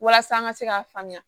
Walasa an ka se k'a faamuya